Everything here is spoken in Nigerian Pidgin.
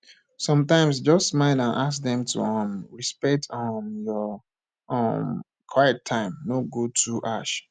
sometimes just smile and ask dem to um respect um your um quiet time no go too harsh